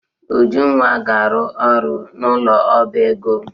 Ujunwa ga-aru oru n'ulo oba ego.